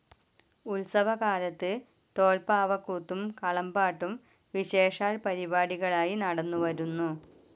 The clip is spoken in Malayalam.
ഉൽസവകാലത്ത് തോൽപ്പാവക്കൂത്തും കളം പാട്ടും വിശേഷാൽ പരിപാടികളായി നടന്നുവരുന്നു.